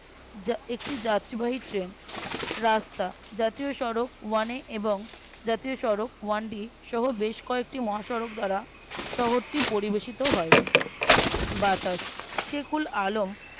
একটি যাত্রীবাহী Train রাস্তা জাতীয় সড়ক ওয়ান এ এবং জাতীয় সড়ক ওয়ান ডি সহ বেশ কয়েকটি মহাসড়ক ধরা শহরটি পরিবেশিত হয় বাতাস সেকুল আলম